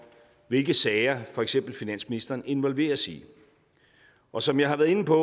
hvilke sager for eksempel finansministeren involveres i og som jeg har været inde på